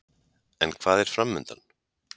En hvað er framundan?